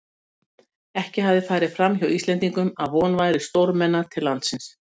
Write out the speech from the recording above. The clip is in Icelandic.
Hann veit, að það er ég sem stend fyrir lekanum ég, Friðrik